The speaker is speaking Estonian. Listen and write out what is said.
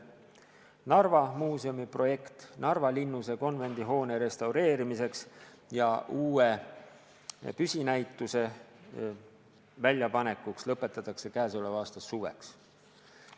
Narva Muuseumi projekt Narva linnuse konvendihoone restaureerimiseks ja uue püsinäituse väljapanekuks lõpetatakse käesoleva aasta suveks.